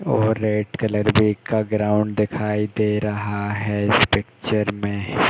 और red colour का ground देखाइ दे रहा है इस पिक्चर में --